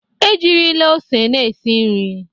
Ejirila ose na-esi nri.